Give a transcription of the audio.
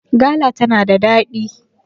gala tana da daɗi!